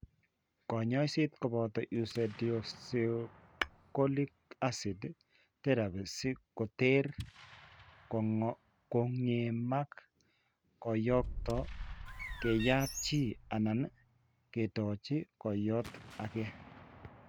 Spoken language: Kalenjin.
Kanyoiset koboto ursedeoxycholic acid therapy si koter kong'emak kooyto, keyat chi anan kendochi kooyto ake.